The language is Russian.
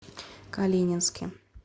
калининске